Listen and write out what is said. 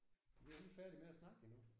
Vi er ikke færdige med at snakke endnu